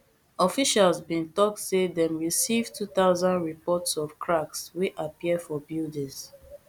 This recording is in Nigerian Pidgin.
officials bin tok say dem receive two thousand reports of cracks wey appear for buildings